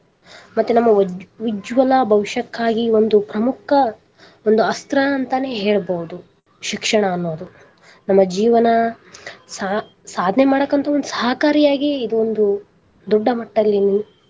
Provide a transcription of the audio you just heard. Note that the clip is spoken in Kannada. ಮತ್ತೆ ನಮ್ಮ ಉಜ್ವಲ ಭವಿಷ್ಯಕ್ಕಾಗಿ ಒಂದು ಪ್ರಮುಖ ಒಂದು ಅಸ್ತ್ರ ಅಂತಾನೆ ಹೇಳ್ಬಹುದು ಶಿಕ್ಷಣ ಅನ್ನೋದು ನಮ್ಮ ಜೀವನ ಸಾ~ ಸಾಧನೆ ಮಾಡಾಕ ಅಂತೂ ಸಹಕಾರಿಯಾಗಿ ಇದೊಂದು ದೊಡ್ಡ ಮಟ್ಟಲ್ಲಿ.